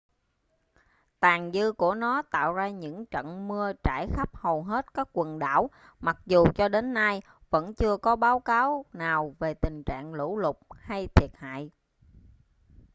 tàn dư của nó tạo ra những trận mưa trải khắp hầu hết các quần đảo mặc dù cho đến nay vẫn chưa có báo cáo nào về tình trạng lũ lụt hay thiệt hại